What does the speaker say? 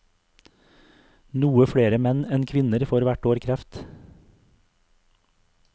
Noe flere menn enn kvinner får hvert år kreft.